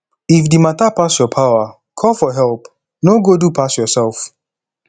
if di matter pass your power call for help no go do pass yourself